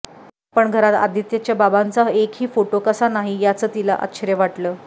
पण घरात आदित्यच्या बाबांचा एकही फोटो कसा नाही ह्याचं तिला आश्चर्य वाटलं